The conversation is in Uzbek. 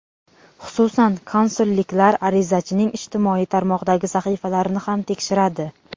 Xususan, konsulliklar arizachining ijtimoiy tarmoqdagi sahifalarini ham tekshiradi.